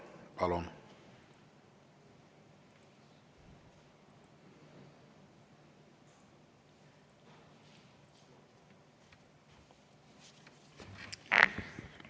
Palun!